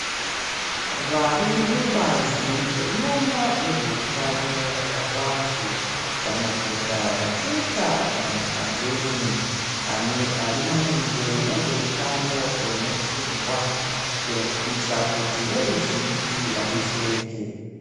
Varimubazi rinoona nezveutano hwavantu vanopota vachiita makambeni arimaringe nezveutano hwemupfungwa kuitira kuti veruzhinji vadetsereke.